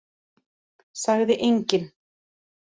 Sagði enginn.